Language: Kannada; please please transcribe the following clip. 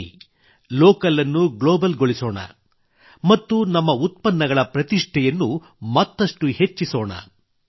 ಬನ್ನಿ ಲೋಕಲ್ ಅನ್ನು ಗ್ಲೋಬಲ್ ಗೊಳಿಸೋಣ ಮತ್ತು ನಮ್ಮ ಉತ್ಪನ್ನಗಳ ಪ್ರತಿಷ್ಠೆಯನ್ನು ಮತ್ತಷ್ಟು ಹೆಚ್ಚಿಸೋಣ